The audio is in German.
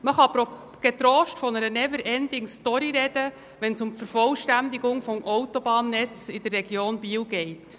Man kann getrost von einer Never-ending-Story sprechen, wenn es um die Vervollständigung des Autobahnnetzes in der Region Biel geht: